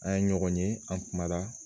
An ye ɲɔgɔn ye an kuma na